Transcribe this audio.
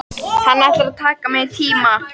Hann ætlar að taka mig í tíma.